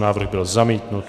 Návrh byl zamítnut.